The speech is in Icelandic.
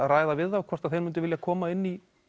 ræða við þá um hvort þeir myndu vilja koma inn í